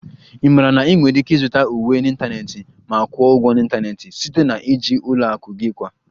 Ị maara na ị nwere ike ịzụta uwe n'ịntanetị ma kwụọ ụgwọ n'ịntanetị site na iji ụlọ akụ gị kwa